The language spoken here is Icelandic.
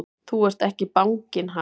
Þú ert ekki banginn, ha!